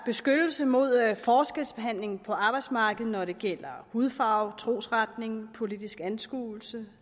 beskyttelse mod forskelsbehandling på arbejdsmarkedet når det gælder hudfarve trosretning politisk anskuelse